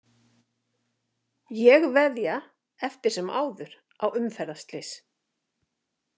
Ég veðja eftir sem áður á umferðarslys.